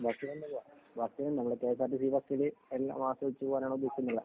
ബസിനു തന്നെ പോവാ. നമ്മുടെ കെഎസ് ആര്‍ ടിസി ബസ്സില് പോകാനുദ്ദേശിക്കുന്നത്.